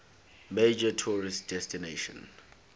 major tourist destination